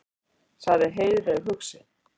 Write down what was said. sagði Heiðveig hugsi.